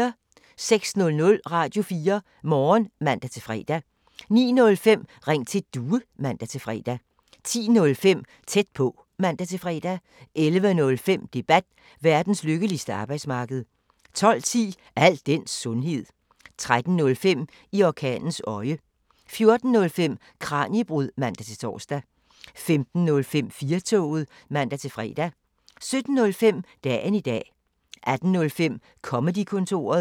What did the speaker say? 06:00: Radio4 Morgen (man-fre) 09:05: Ring til Due (man-fre) 10:05: Tæt på (man-fre) 11:05: Debat: Verdens lykkeligste arbejdsmarked 12:10: Al den sundhed 13:05: I orkanens øje 14:05: Kraniebrud (man-tor) 15:05: 4-toget (man-fre) 17:05: Dagen i dag 18:05: Comedy-kontoret